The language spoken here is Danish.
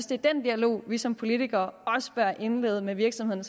det er den dialog vi som politikere også bør indlede med virksomhederne